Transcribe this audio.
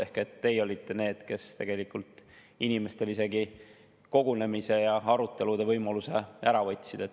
Ehk teie olite need, kes tegelikult inimestel isegi kogunemise ja arutelude võimaluse ära võtsid.